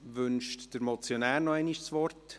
Wünscht der Motionär noch einmal das Wort?